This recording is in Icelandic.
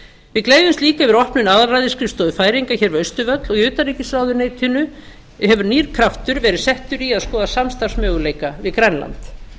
við gleðjumst líka yfir opnun aðalræðisskrifstofu færeyinga hér við austurvöll og í utanríkisráðuneytinu hefur nýr kraftur verið settur í að skoða samstarfsmöguleika við grænland